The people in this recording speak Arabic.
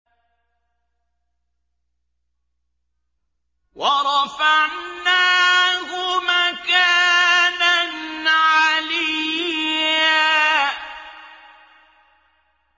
وَرَفَعْنَاهُ مَكَانًا عَلِيًّا